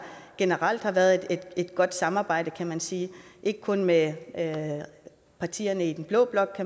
generelt har været et godt samarbejde kan man sige ikke kun med partierne i den blå blok